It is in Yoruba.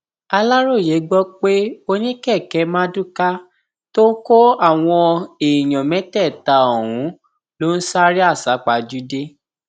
aláròye gbọ pé oníkèké mardukâ tó kó àwọn èèyàn mẹtẹẹta ọhún ló ń sáré àsápajúdé